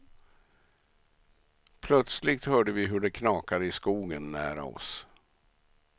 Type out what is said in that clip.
Plötsligt hörde vi hur det knakade i skogen nära oss.